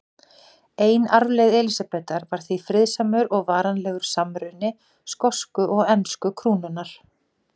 Ein arfleifð Elísabetar var því friðsamur og varanlegur samruni skosku og ensku krúnanna.